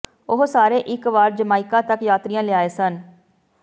ਉਹ ਸਾਰੇ ਇਕ ਵਾਰ ਜਮਾਇਕਾ ਤੱਕ ਯਾਤਰੀਆ ਲਿਆਏ ਸਨ